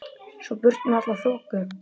Svo burt með alla þoku.